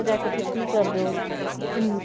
ਜਾ ਕੇ ਫਿਰ ਕੀ ਕਰਦੇ ਹੋ